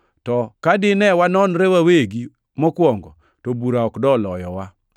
To ka dine wanonre wawegi mokwongo, to bura ok doloyowa.